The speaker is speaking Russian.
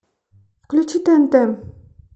включи тнт